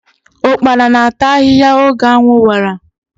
Ụkpana na-ata ahiahia oge anwụ wara.